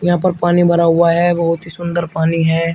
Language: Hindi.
यहां पर पानी भरा हुआ है बहुत ही सुंदर पानी है।